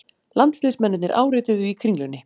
Landsliðsmennirnir árituðu í Kringlunni